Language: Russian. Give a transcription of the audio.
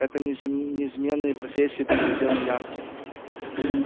эти низменные профессии были уделом янки